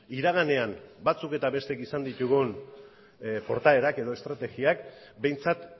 iraganean batzuk eta bestek izan ditugun portaerak edo estrategiak behintzat